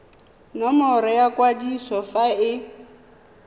nomoro ya kwadiso fa e